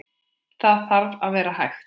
Það þarf að vera hægt.